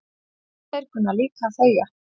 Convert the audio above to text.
Þeir kunna líka að þegja